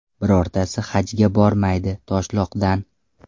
Birortasi Hajga bormaydi Toshloqdan!